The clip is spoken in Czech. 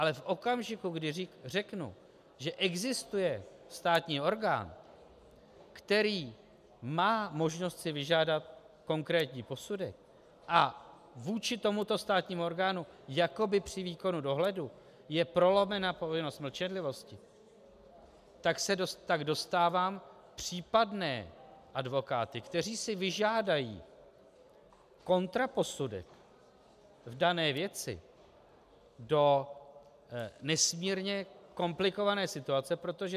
Ale v okamžiku, kdy řeknu, že existuje státní orgán, který má možnost si vyžádat konkrétní posudek a vůči tomuto státnímu orgánu jakoby při výkonu dohledu je prolomena povinnost mlčenlivosti, tak dostávám případné advokáty, kteří si vyžádají kontraposudek v dané věci, do nesmírně komplikované situace, protože -